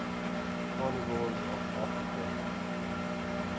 carnivores of africa